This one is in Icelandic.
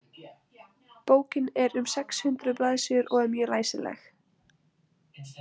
Bókin er um sex hundruð blaðsíður og er mjög læsileg.